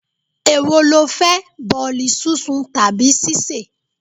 È wo lo fẹ́? Bọ̀ọ̀lì sún sun tàbí sise?